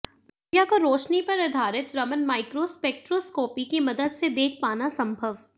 प्रक्रिया को रोशनी पर आधारित रमन माइक्रोस्पेक्ट्रोस्कोपी की मदद से देख पाना संभव